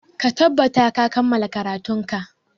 Ka tattabata ka kammala karatunka!